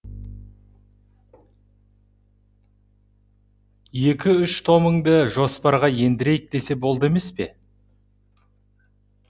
екі үш томыңды жоспарға ендірейік десе болды емес пе